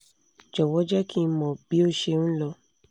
jọ̀wọ́ jẹ́ kí n mọ̀ bí ó ṣe n lọ